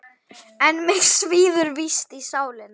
En mig svíður víst í sálina.